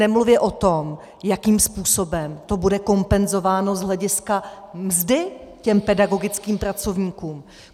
Nemluvě o tom, jakým způsobem to bude kompenzováno z hlediska mzdy těm pedagogickým pracovníkům.